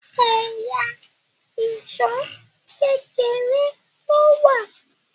ẹyà Èṣó kékeré ló wá